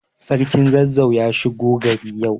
Sarkin Zazzau ya shigo gari yau.